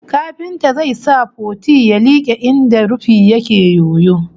Kafintan zai sa puti ya like inda rufin yake yoyo